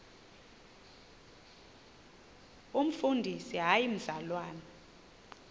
umfundisi hayi mzalwana